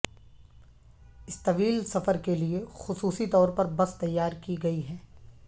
اس طویل سفر کے لیے خصوصی طور پر بس تیار کی گئی ہے